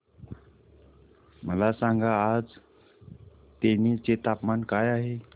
मला सांगा आज तेनी चे तापमान काय आहे